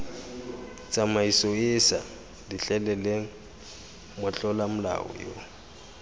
tsamaisoeesa letleleleng motlola molao yo